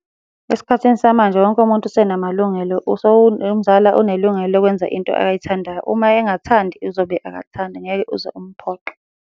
Esikhathini samanje wonke umuntu usenamalungelo nomzala unelungelo lokwenza into ayithandayo. Uma engathandi, uzobe akathandi, ngeke uze umphoqe.